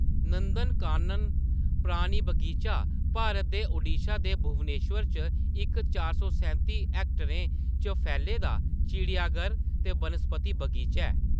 नंदनकानन प्राणी बगीचा भारत दे ओडिशा दे भुवनेश्वर च इक चार सौ सैंती हेकटरें च फैले दा चिड़ियाघर ते वनस्पति बगीचा ऐ।